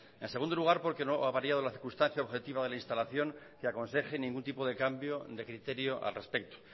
en segundo lugar porque no ha variado la circunstancia objetiva de la instalación que aconseje ningún tipo de cambio de criterio al respecto